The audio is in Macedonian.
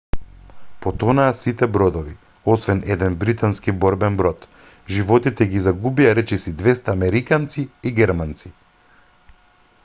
потонаа сите бродови освен еден британски борбен брод животите ги загубија речиси 200 американци и германци